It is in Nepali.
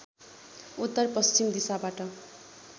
उत्तर पश्चिम दिशाबाट